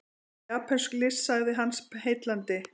Japönsk list sagði hann, heillandi.